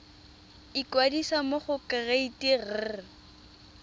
ikwadisa mo go kereite r